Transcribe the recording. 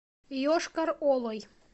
йошкар олой